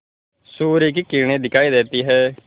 सूर्य की किरणें दिखाई देती हैं